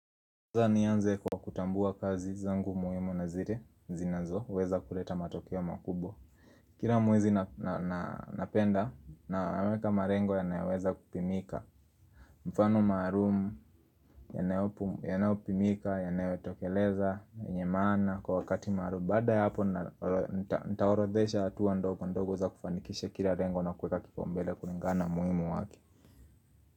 Nianze kwa kutambua kazi zangu muhimu na zile zinazoweza kuleta matokeo makubwa kila mwezi napenda naweka malengo yanayoweza kupimika mfano maalum yanayopimika yanayotokeleza yenye maana kwa wakati maalum baada ya hapo na nitaorodhesha hatua ndogo ndogo za kufanikisha kila lengo na kuweka kipaombele kulingana na umuhimu wake.